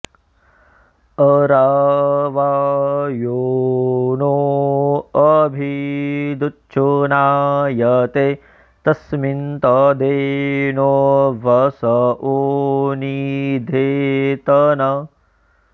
अरा॑वा॒ यो नो॑ अ॒भि दु॑च्छुना॒यते॒ तस्मि॒न्तदेनो॑ वसवो॒ नि धे॑तन